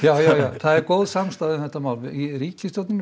það er góð samstaða um þetta mál í ríkisstjórninni